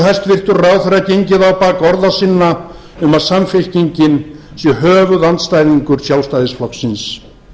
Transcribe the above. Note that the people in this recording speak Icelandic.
hæstvirtur ráðherra gengið á bak orða sinna um að samfylkingin sé höfuðandstæðingur sjálfstæðisflokksins